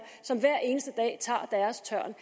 som hver eneste dag tager deres tørn